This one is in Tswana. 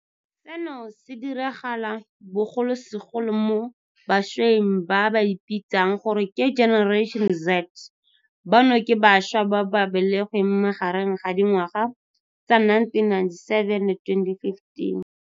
Seno se diragala bogolosegolo mo bašweng ba ba ipitsang gore ke Generation Z, bano ke bašwa ba ba belegweng magareng ga dingwaga tsa 1997 le 2015.